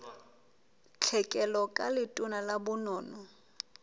tlhekelo ka letona la bonono